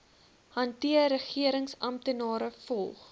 hanteer regeringsamptenare volg